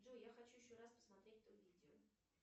джой я хочу еще раз посмотреть то видео